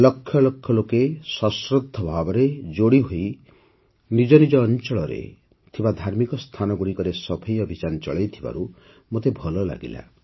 ଲକ୍ଷ ଲକ୍ଷ ଲୋକେ ସଶ୍ରଦ୍ଧ ଭାବରେ ଯୋଡ଼ିହୋଇ ନିଜ ନିଜ ଅଞ୍ଚଳରେ ଥିବା ଧାର୍ମିକ ସ୍ଥାନଗୁଡ଼ିକରେ ସଫେଇ ଅଭିଯାନ ଚଳାଇଥିବାରୁ ମୋତେ ଭଲ ଲାଗିଲା